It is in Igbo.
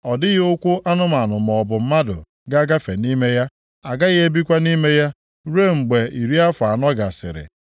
Ọ dịghị ụkwụ anụmanụ maọbụ mmadụ ga-agafe nʼime ya, agaghị ebikwa nʼime ya ruo mgbe iri afọ anọ gasịrị.